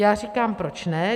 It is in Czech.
Já říkám, proč ne.